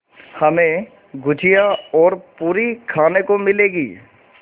हमें गुझिया और पूरी खाने को मिलेंगी